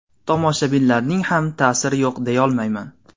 Tomoshabinlarning ham ta’siri yo‘q deyolmayman.